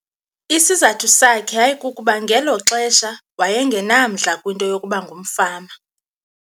Isizathu sakhe yayikukuba ngelo xesha waye ngenamdla kwinto yokuba ngumfama.